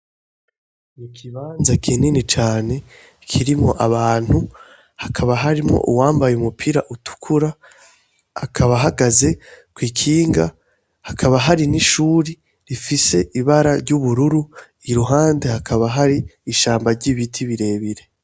Ikibanza kinini cane kirimwo abantu, hakaba harimwo uwambaye umupira utukura akaba ahagaze kw'ikinga, hakaba hari n'ishure rifise ibara ry'ubururu, iruhande hakaba hari ishamba ry'ibiti birebire.